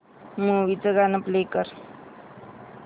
movie चं गाणं play कर